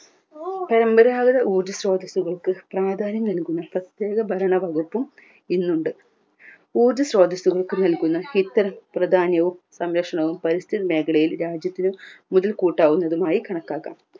ഊർജ സ്രോതസ്സുകൾക്ക് പ്രാധാന്യം നൽകുന്ന പ്രത്യേക ഭരണ വകുപ്പും ഇന്നുണ്ട് ഊർജ സ്രോതസ്സുകൾക്ക് നൽകുന്ന ഇത്തരം പ്രധാന്യവും സംരക്ഷണവും പരിസ്ഥിതി മേഖലയിൽ രാജ്യത്തിന് മുതൽ കൂട്ടാവുന്നതിനായി കണക്കാക്കാം